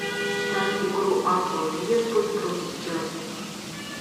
ставь игру апл ливерпуль против челси